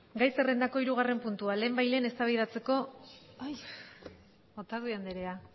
otadui andrea